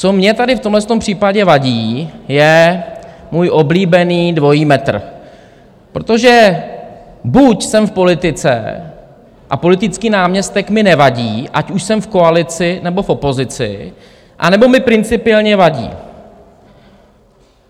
Co mně tady v tomhle případě vadí, je můj oblíbený dvojí metr, protože buď jsem v politice a politický náměstek mi nevadí, ať už jsem v koalici, nebo v opozici, anebo mi principiálně vadí.